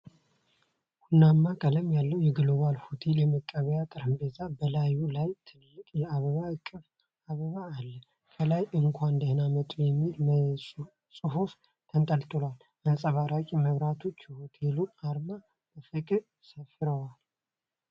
ቡናማ ቀለም ያለው የግሎባል ሆቴል የመቀበያ ጠረጴዛ፣ በላዩ ላይ ትልቅ የአበባ እቅፍ አበባ አለ። ከላይ "እንኳን ደህና መጡ የሚል ጽሑፍ ተንጠልጥሏል። አንጸባራቂ መብራቶችና የሆቴሉ አርማ በፍቅር ሰፍረዋል።